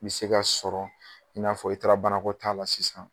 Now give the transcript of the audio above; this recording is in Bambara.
Me se k'a sɔrɔ i n'a fɔ i taara banakɔtaa la sisan